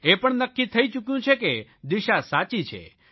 એ પણ નક્કી થઇ ચૂક્યું છે કે દિશા સાચી છે